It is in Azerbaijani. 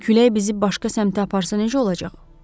Külək bizi başqa səmtə aparsa necə olacaq?